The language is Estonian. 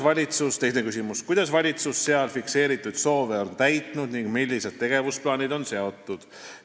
" Teine küsimus: "Kuidas valitsus seal fikseeritud soove on täitnud ning millised tegevusplaanid on seatud?